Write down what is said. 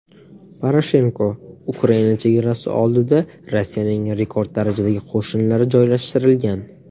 Poroshenko: Ukraina chegarasi oldida Rossiyaning rekord darajadagi qo‘shinlari joylashtirilgan.